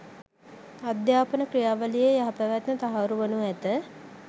අධ්‍යාපන ක්‍රියාවලියේ යහපැවැත්ම තහවුරු වනු ඇත.